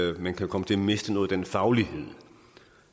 at man kan komme til at miste noget af den faglighed